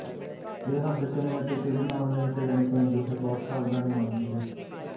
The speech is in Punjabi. ਇਹ ਹੱਦ ਕਿਵੇਂ ਅਤੇ ਕਿਹੜੇ ਮਾਮਲਿਆਂ ਵਿੱਚ ਲੈਣੀ ਚਾਹੀਦੀ ਹੈ ਬਹੁਤ ਸਾਵਧਾਨੀ ਮੰਗਦੀ ਹੈ